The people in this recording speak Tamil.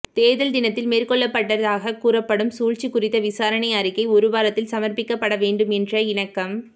தேர்தல் தினத்தில் மேற்கொள்ளப்பட்டதாக கூறப்படும் சூழ்ச்சி குறித்த விசாரணை அறிக்கை ஒரு வாரத்தில் சமர்பிக்கப்பட வேண்டும் என்ற இணக்கம்